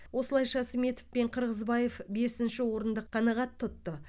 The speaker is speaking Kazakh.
осылайша сметов пен қырғызбаев бесінші орынды қанағат тұтты